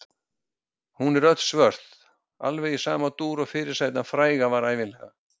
Hún er öll svört, alveg í sama dúr og fyrirsætan fræga var ævinlega.